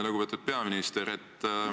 Lugupeetud peaminister!